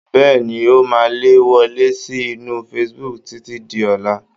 Bẹ́ẹ̀ni, ó máa le wọlé sí inú facebook títí di ọ̀la